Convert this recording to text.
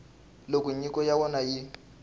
loko nyiko ya wena yi